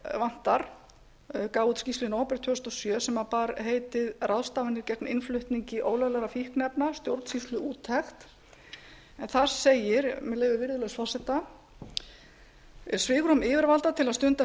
vantar gaf út skýrslu í nóvember tvö þúsund og sjö sem bar heitið ráðstafanir gegn innflutningi ólöglegra fíkniefna stjórnsýsluúttekt en þar segir með leyfi virðulegs forseta svigrúm yfirvalda til að stunda